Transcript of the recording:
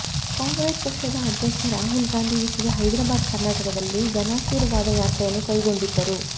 ಕಾಂಗ್ರೆಸ್ ಪಕ್ಷದ ಅಧ್ಯಕ್ಷ ರಾಹುಲ್ ಗಾಂಧಿ ಈಚೆಗೆ ಹೈದರಾಬಾದ್ ಕರ್ನಾಟಕದಲ್ಲಿ ಜನಾಶೀರ್ವಾದ ಯಾತ್ರೆಯನ್ನು ಕೈಗೊಂಡಿದ್ದರು